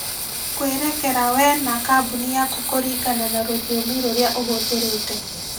kwerekera wee na kambuni yaku kũringana na rũthiomi rũrĩa ũhũthĩrĩte.